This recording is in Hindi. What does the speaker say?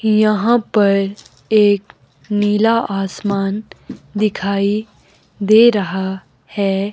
यहां पर एक नीला आसमान दिखाई दे रहा है।